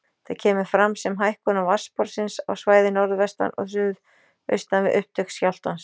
Þetta kemur fram sem hækkun vatnsborðsins á svæði norðvestan og suðaustan við upptök skjálftans.